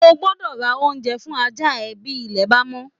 O gbọ́dọ ra oúnjẹ fún ajá rẹ̀ bí ilẹ̀ bá mọ́?